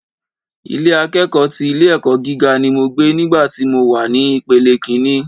Ilé akẹ́kọ̀ọ́ ti ilé ẹ̀kọ́ gíga ni mo gbé nígbà tí mo wà ní ìpele ìkíní